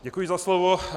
Děkuji za slovo.